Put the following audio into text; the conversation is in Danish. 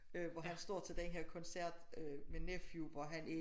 Øh hvor han står til den her koncert øh med Nephew hvor han er